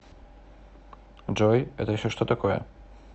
джой это еще что такое